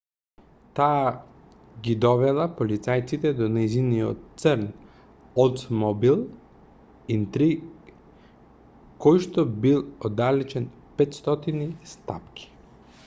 таа ги довела полицајците до нејзиниот црн олдсмобил интриг којшто бил оддалечен 500 стапки